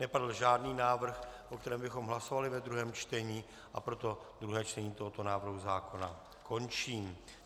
Nepadl žádný návrh, o kterém bychom hlasovali ve druhém čtení, a proto druhé čtení tohoto návrhu zákona končím.